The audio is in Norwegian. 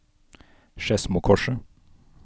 Skedsmokorset